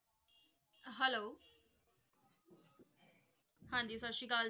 Hello ਹਾਂਜੀ ਸਤਿ ਸ਼੍ਰੀ ਅਕਾਲ।